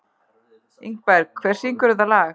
Ingberg, hver syngur þetta lag?